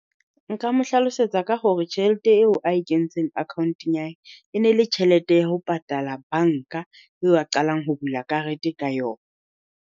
Nka mo hlalosetsa ka hore tjhelete eo a e kentseng account-ng ya hae, e ne le tjhelete ya ho patala banka eo a qalang ho bula karete ka yona.